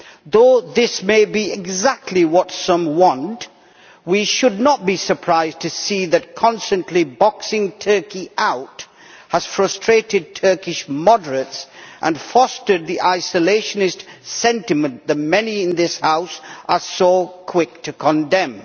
Though this may be exactly what some want, we should not be surprised to see that constantly boxing Turkey out has frustrated Turkish moderates and fostered the isolationist sentiment the many in this House are so quick to condemn.